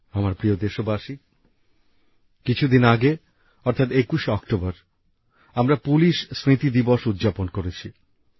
আমার প্রিয় দেশবাসী কিছুদিন আগে অর্থাৎ ২১শে অক্টোবর আমরা পুলিশ স্মৃতি দিবস উদযাপন করেছি